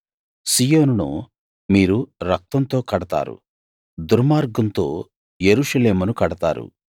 సీయోనును మీరు రక్తంతో కడతారు దుర్మార్గంతో యెరూషలేమును కడతారు